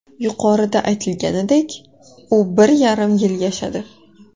Yuqorida aytilganidek, u bir yarim yil yashadi.